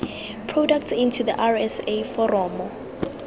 products into the rsa foromo